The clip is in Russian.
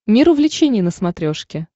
мир увлечений на смотрешке